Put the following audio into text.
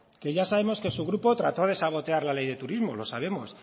que ya sabemos que su grupo trató de sabotear la ley de turismo lo sabemos